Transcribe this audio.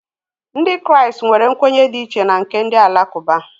Ndị Kraịst nwere nkwenye dị iche na nke ndị Alakụba